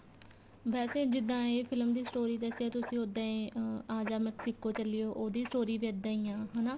ਵੈਸੇ ਜਿੱਦਾਂ ਇਹ film ਦੀ story ਦੱਸੀ ਏ ਤੁਸੀ ਉਦਾ ਈ ਅਹ ਆ ਜਾ Mexico ਚੱਲੀਏ ਉਹਦੀ story ਵੀ ਇੱਦਾਂ ਈ ਆ ਹਨਾ